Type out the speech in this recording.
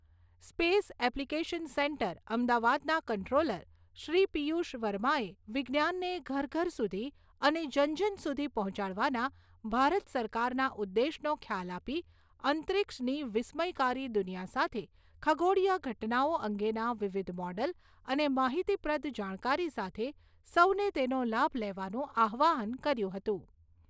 Space application centre, અમદાવાદના controller Shri Piyush વર્માએ વિજ્ઞાનને ઘર ઘર સુધી અને જન જન સુધી પહોંચાડવાના ભારત સરકારના ઉદ્દેશનો ખ્યાલ આપી અંતરિક્ષની વિસ્મયકારી દુનિયા સાથે ખગોળીય ઘટનાઓ અંગેના વિવિધ મોડલ અને માહિતીપ્રદ જાણકારી સાથે સૌને તેનો લાભ લેવાનું આહ્વાન કર્યું હતું.